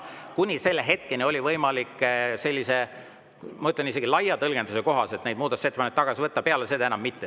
Kuni selle hetkeni oli võimalik – ma ütlen, et isegi laia tõlgenduse kohaselt – muudatusettepanekuid tagasi võtta, peale seda enam mitte.